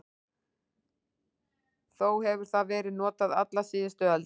Þó hefur það verið notað alla síðustu öld.